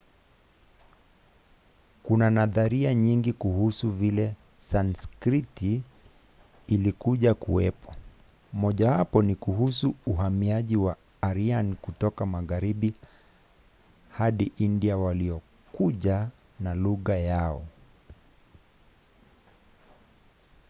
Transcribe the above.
kuna nadharia nyingi kuhusu vile sanskrit ilikuja kuwepo. mojawapo ni kuhusu uhamaji wa aryan kutoka magharibi hadi india waliokuja na lugha yao